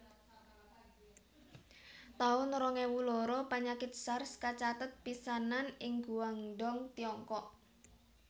taun rong ewu loro Panyakit Sars kacathet pisanan ing Guangdong Tiongkok